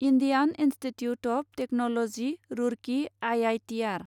Indian Institute of Technology Roorkee I I T R